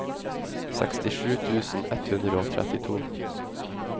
sekstisju tusen ett hundre og trettito